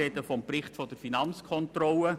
Ich spreche vom Bericht der Finanzkontrolle.